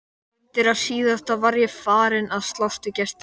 Undir það síðasta var ég farinn að slást við gestina.